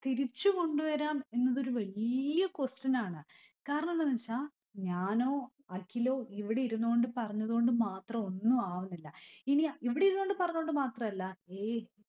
തിരിച്ചുകൊണ്ടുവരാം എന്നതൊരു വല്യ question ആണ്. കാരണമെന്താന്ന് വച്ച ഞാനോ അഖിലോ ഇവിടെയിരുന്നോണ്ട് പറഞ്ഞതുകൊണ്ട് മാത്രമൊന്നും ആവുന്നില്ല. ഇനി ഇവിടെയിരുന്നോണ്ട് പറഞ്ഞോണ്ട് മാത്രമല്ല എ